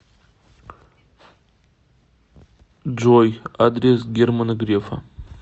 джой адрес германа грефа